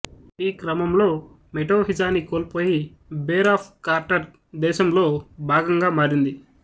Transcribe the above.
ఈ క్రమంలో మెటోహిజాని కోల్పోయి బేర్ ఆఫ్ కార్టర్ దేశంలో భాగంగా మారింది